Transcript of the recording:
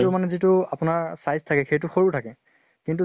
তো মানে যিটো আপোনাৰ size থাকে সেইটো সৰু থাকে। কিন্তু